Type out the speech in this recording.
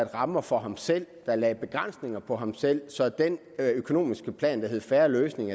rammer for ham selv den lagde begrænsninger for ham selv så den økonomiske plan der hed fair løsning